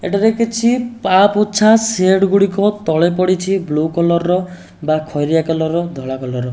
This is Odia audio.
ଏଠାରେ କିଛି ପାପୋଛା ସେଡ୍ ଗୁଡ଼ିକ ତଳେ ପଡ଼ିଛି ବ୍ଲୁ କଲର୍ ର ବା ଖଇରିଆ କଲର୍ ଧଳା କଲର୍ ।